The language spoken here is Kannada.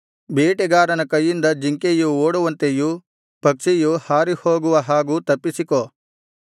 ಬೇಟೆಗಾರನ ಕೈಯಿಂದ ಜಿಂಕೆಯು ಓಡುವಂತೆಯೂ ಪಕ್ಷಿಯು ಹಾರಿ ಹೋಗುವ ಹಾಗೂ ತಪ್ಪಿಸಿಕೋ